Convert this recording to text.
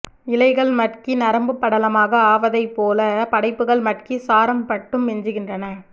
இலைகள் மட்கி நரம்புப் படலமாக ஆவதைப்போல படைப்புகள் மட்கி சாரம் மட்டும் மிஞ்சுகின்றன